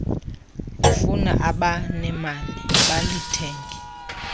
lifuna abanemali balithenge